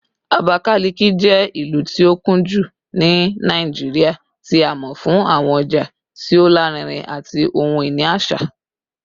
Abakalaki jẹ ilu ti o kunju ni Naijiria, ti a mọ fun awọn ọja ti o larinrin ati ohun-ini aṣa